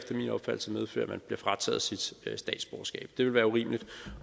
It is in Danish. medføre at man bliver frataget sit statsborgerskab det ville være urimeligt